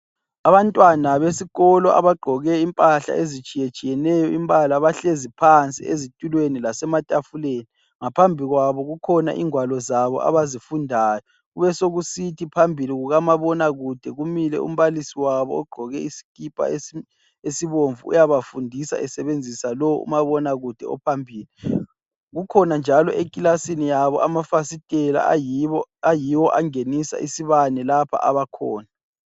Abantwana besikolo abagqoke impahla ezitshiyetshiyeneyo imbala. Bahlezi phansi ezitulweni lasematafileni. Ngaphambi kwabo kukhona ingwalo zabo abazifundayo. Besekusithi phambi kukamabona kude kumile umbalisi wabo. Ogqoke isikipa esibomvu uyabafundisa esebenzisa umabona kude ophambili. Kukhona njalo eklasini yabo amafasitela ayiwo angenisa isibame la abakhona.